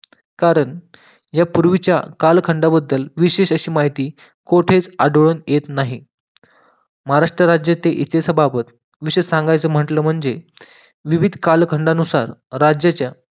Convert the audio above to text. कारण या पूर्वीच्या कालखंडाबद्दल विशेष अशी माहिती कोठेच आढळून येत नाही महाराष्ट्र राज्याचे इतिहासाबाबत विषय सांगायचं म्हटलं म्हणजे विविध कालखंडानुसार राज्याच्या